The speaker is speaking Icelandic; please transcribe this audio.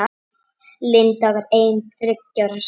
Linda var ein þriggja systra.